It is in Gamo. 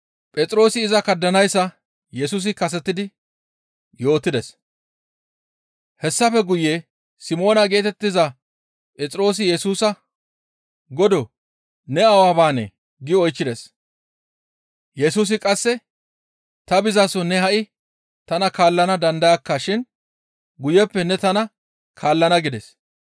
Hessafe guye Simoona geetettiza Phexroosi Yesusa, «Godoo! Ne awa baanee?» gi oychchides. Yesusi qasse, «Ta bizaso ne ha7i tana kaallana dandayakka shin guyeppe ne tana kaallana» gides.